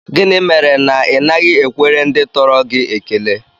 Gịnị mere na Ị naghị ekwere ndị tọrọ gị ekele?